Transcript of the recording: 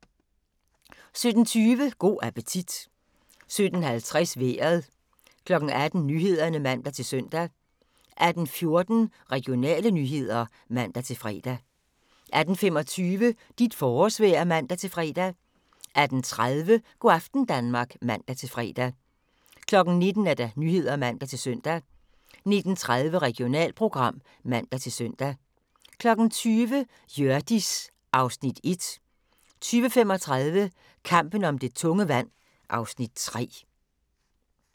17:20: Go' appetit 17:50: Vejret 18:00: Nyhederne (man-søn) 18:14: Regionale nyheder (man-fre) 18:25: Dit forårsvejr (man-fre) 18:30: Go' aften Danmark (man-fre) 19:00: Nyhederne (man-søn) 19:30: Regionalprogram (man-søn) 20:00: Hjørdis (Afs. 1) 20:35: Kampen om det tunge vand (Afs. 3)